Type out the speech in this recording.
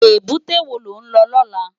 Ébùté wó ló n lò lòlá?